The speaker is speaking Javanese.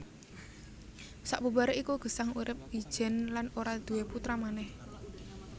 Sabubaré iku Gesang urip ijèn lan ora duwé putra manèh